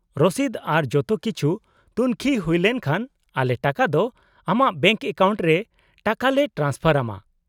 -ᱨᱚᱥᱤᱫ ᱟᱨ ᱡᱚᱛᱚ ᱠᱤᱪᱷᱩ ᱛᱩᱝᱠᱷᱤ ᱦᱩᱭᱞᱮᱱ ᱠᱷᱟᱱ ᱟᱞᱮ ᱴᱟᱠᱟ ᱫᱚ ᱟᱢᱟᱜ ᱵᱮᱝᱠ ᱮᱠᱟᱣᱩᱱᱴ ᱨᱮ ᱴᱟᱠᱟ ᱞᱮ ᱴᱨᱟᱱᱥᱯᱷᱟᱨ ᱟᱢᱟ ᱾